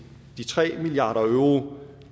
de tre milliard euro